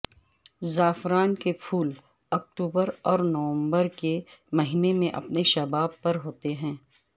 زعفران کے پھول اکتوبر اور نومبر کے مہینے میں اپنے شباب پر ہوتے ہیں